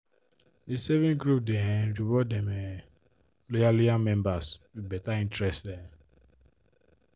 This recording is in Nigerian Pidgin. the saving group dey um reward dem um loyal loyal members with better interest um